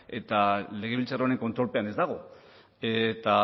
eta legebiltzar honen kontrolpean ez dago eta